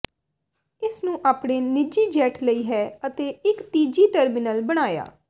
ਇਸ ਨੂੰ ਆਪਣੇ ਨਿੱਜੀ ਜੈੱਟ ਲਈ ਹੈ ਅਤੇ ਇੱਕ ਤੀਜੀ ਟਰਮੀਨਲ ਬਣਾਇਆ